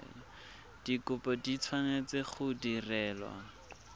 dikopo di tshwanetse go direlwa